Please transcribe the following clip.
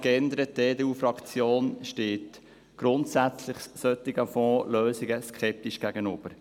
Die EDUFraktion steht solchen Fondslösungen grundsätzlich skeptisch gegenüber.